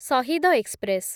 Shahid express